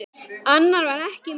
Annað var ekki mikið rætt.